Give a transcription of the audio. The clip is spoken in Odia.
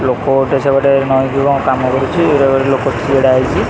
ଲୋକୋ ଗୋଟେ ସେପଟେ ନଇଁକି କଣ କାମ କରୁଛି ଏଇଟା ଗୋଟେ ଲୋକ ଛିଡାହେଇଛି ।